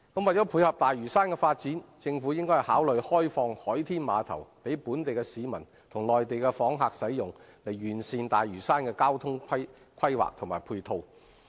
為配合大嶼山的發展，政府應考慮開放海天碼頭予本地市民及內地訪客使用，以完善大嶼山的交通規劃及配套。